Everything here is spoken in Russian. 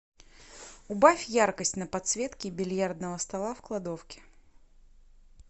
убавь яркость на подсветке бильярдного стола в кладовке